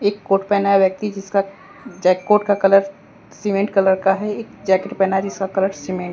एक कोट पहना है व्यक्ति जिसका जैककोट का कलर सीमेंट कलर का है एक जैकेट पहना है जिसका कलर सीमेंट --